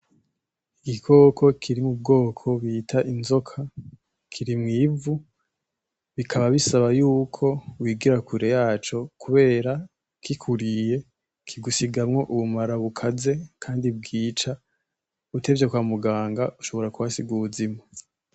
Igikoko kiri mubwoko bita inzoka, kiri mwi vu bikaba bisaba yuko wegera kure yaco kubera kikuriye, kigusigamwo ubumara bukaze kandi bwica. Utevye kwa muganga ushobora kuhasiga ubuzima.